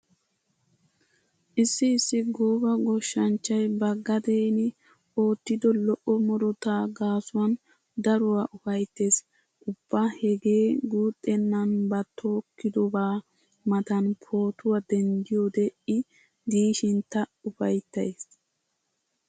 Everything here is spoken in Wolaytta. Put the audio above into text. Issi issi gooba goshshanchchay ba gadeeni oottido lo'o murutaa gaasuwan daruwa ufayttees. Ubba hegee guuxxennan ba tokkidobaa matan pootuwa denddiyode I diishin ta ufayttas.